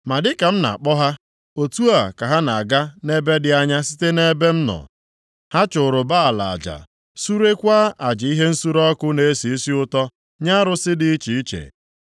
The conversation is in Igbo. Ma dịka m na-akpọ ha, otu a ka ha na-aga nʼebe dị anya site nʼebe m nọ. Ha chụrụ Baal aja, surekwa aja ihe nsure ọkụ na-esi isi ụtọ nye arụsị dị iche iche.